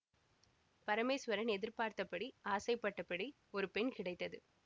பரமேச்வரன் எதிர்பார்த்தபடி ஆசைப்பட்டபடி ஒரு பெண் கிடைத்தது